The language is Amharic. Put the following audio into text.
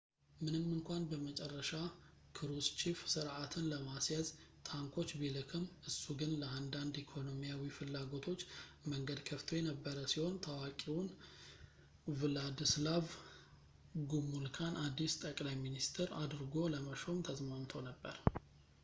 ምንም እንኳን በመጨረሻ ክሩስቺፍ ሥርዓትን ለማስያዝ ታንኮች ቢልክም እሱ ግን ለአንዳንድ ኢኮኖሚያዊ ፍላጎቶች መንገድ ከፍቶ የነበረ ሲሆን ታዋቂውን ቭላድስላቭ ጉሙልካን አዲስ ጠቅላይ ሚኒስትር አድርጎ ለመሾም ተስማምቶ ነበር